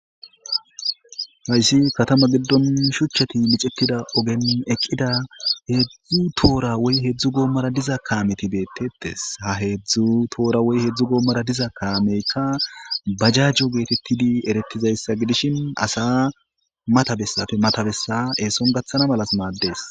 Hayssi katama giddon shuchchati micettida ogen eqqida heedzdzu toora woy hedzdzu goommora diza kaameti beettettes ha heedzdzu toora woy hedzdzu goommora diza kaameykka bajajjo geetettidi erettizayssa gidishin asa matabessafe matabessa eeson gaththana malas maaddees.